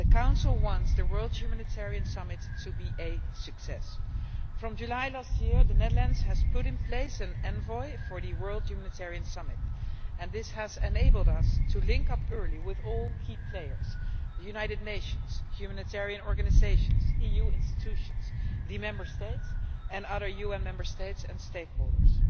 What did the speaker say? The Council wants the World Humanitarian Summit to be a success. From July last year, the Netherlands has put in place an envoy for the World Humanitarian Summit and this has enabled us to link up early with all key players the United Nations, humanitarian organisations, EU institutions, the Member States and other UN member states and stakeholders.